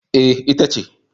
E, ita ce.